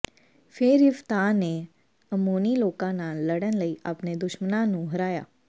ਫ਼ੇਰ ਯਿਫ਼ਤਾਹ ਨੇ ਅੰਮੋਨੀ ਲੋਕਾਂ ਨਾਲ ਲੜਨ ਲਈ ਆਪਣੇ ਦੁਸ਼ਮਣਾਂ ਨੂੰ ਹਰਾਇਆ